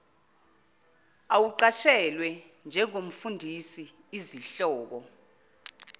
awuqashelwe njengomfundisi izihlobo